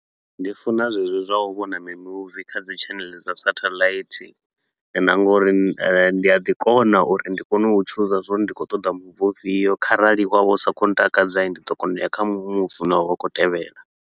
Ndi funa zwezwo zwa u vhona mimuvi kha dzi tshaneḽe dza satelite, na nga uri eh ndi a ḓi kona uri ndi kone u chooser zwa uri ndi khou ṱoḓa muvi ufhio kharali wa vha u sa khou ntakadza hii, ndi ḓo kona u ya kha mimuvi u ne wa vha u khou tevhela.